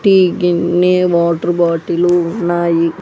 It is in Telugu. టీ గిన్ని వాటర్ బాటిల్ ఉన్నాయి.